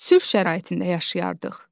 Sülh şəraitində yaşayardıq.